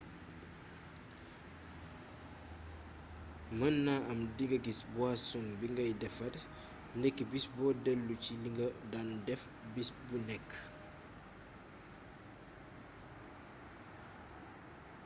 mën na am dinga gis buwasoŋ bi ngay defare ndekki bis boo delloo ci li nga daan def bis bu nekk